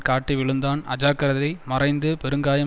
காட்டி விழுந்தான் அஜாக்கிரதை மறைந்து பெருங்காயம்